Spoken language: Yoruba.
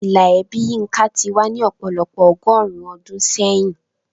Ìlà ẹbí Yinka ti wà ní ọ̀pọ̀lọpọ̀ ọgọ́rùn-ún ọdún sẹ́yìn.